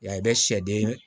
Yan i bɛ sɛden